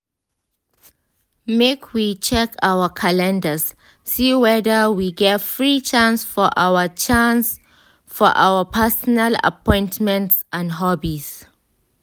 make we check our calendars see weda we get free chance for our chance for our personal appointments and hobbies.